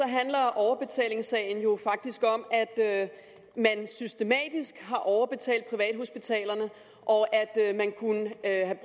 handler overbetalingssagen jo faktisk om at man systematisk har overbetalt privathospitalerne og at man kunne have